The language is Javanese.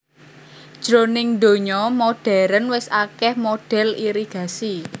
Jroning donya modhèrn wis akèh modhèl irigasi